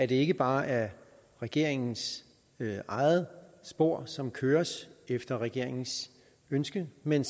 det ikke bare er regeringens eget spor som køres efter regeringens ønske men